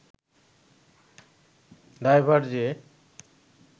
দায়ভার যে